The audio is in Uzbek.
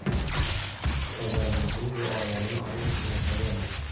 Ustozlarimizning duolarini olib ishni boshlaganmiz.